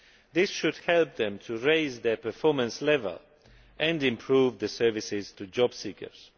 This should help them to raise their performance level and improve services to job seekers.